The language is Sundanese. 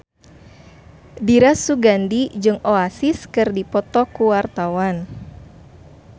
Dira Sugandi jeung Oasis keur dipoto ku wartawan